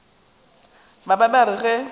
ba be ba re ge